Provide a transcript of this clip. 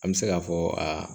An bɛ se k'a fɔ aa